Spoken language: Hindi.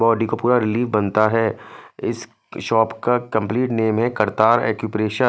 वो देखो पूरा ली बनता है इस शॉप का कम्पलीट नेम है कर्तार एक्युपरेशन --